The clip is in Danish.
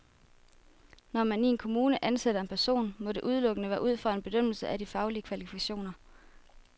Når man i en kommune ansætter en person, må det udelukkende være ud fra en bedømmelse af de faglige kvalifikationer.